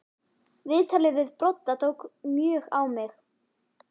Viðtalið við Brodda tók mjög á mig.